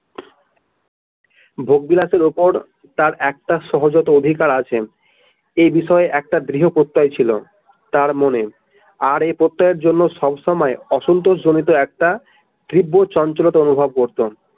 ভোগবিলাসের উপর তার একটা সহজাত অধিকার আছে এ বিষয়ে তার একটা দৃহ প্রত্যয় ছিল তার মনে এই এই প্রত্যয়ের জন্যে সবসময় অসন্তোষ জনিত একটা তীব্র চঞ্চলতা অনুভব করতো।